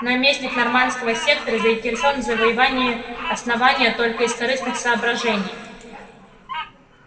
наместник норманского сектора заинтересован в завоевании основания только из корыстных соображений